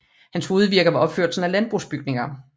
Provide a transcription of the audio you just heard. Hans hovedvirke var opførelsen af landbrugsbygninger